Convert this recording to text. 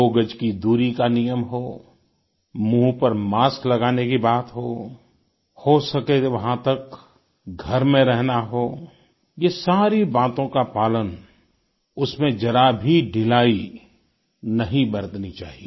दो गज की दूरी का नियम हो मुँह पर मास्क लगाने की बात हो हो सके वहाँ तक घर में रहना हो ये सारी बातों का पालन उसमें जरा भी ढिलाई नहीं बरतनी चाहिए